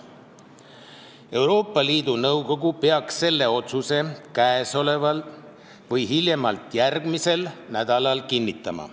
Euroopa Liidu Nõukogu peaks selle otsuse käesoleval või hiljemalt järgmisel nädalal kinnitama.